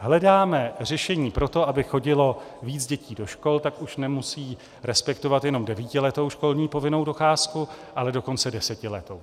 Hledáme řešení pro to, aby chodilo víc dětí do škol, tak už nemusí respektovat jenom devítiletou školní povinnou docházku, ale dokonce desetiletou.